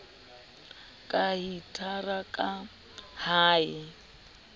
ka hitara ka ha e